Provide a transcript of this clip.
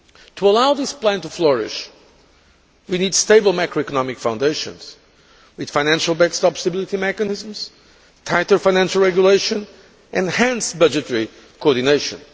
To allow this plan to flourish, we need stable macroeconomic foundations with the financial backstop stability mechanisms, tighter financial regulation and enhanced budgetary coordination.